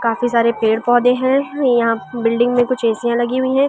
काफी सारे पेड़-पौधे हैं यहां बिल्डिंग में कुछियां लगी हुई है।